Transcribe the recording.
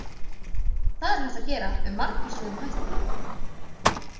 Það er hægt að gera með margvíslegum hætti.